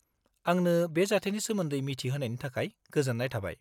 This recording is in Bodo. आंनो बे जाथायनि सोमोन्दै मिथि होनायनि थाखाय गोजोन्नाय थाबाय।